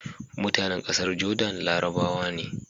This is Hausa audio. mutAnan ƙasar Jordan larabawa ne